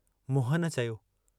मोहन चयो।